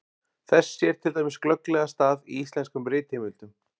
Þess sér til dæmis glögglega stað í íslenskum ritheimildum.